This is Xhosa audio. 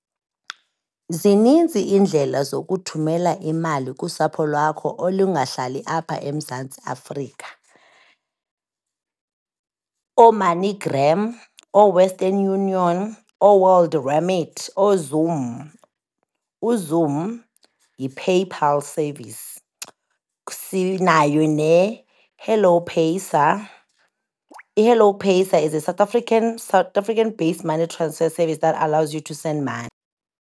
Zininzi iindlela zokuthumela imali kusapho lwakho olungahlali apha eMzantsi Afrika, ooMoneyGram, ooWestern Union, ooWorld Remedy, ooZoom. UZoom yiPayPal service. Sinayo neHello Paisa. IHello Paisa is a South African based money transfer service that allows you to send money.